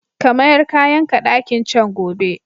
Ka mayar kayanka ɗakin can gobe!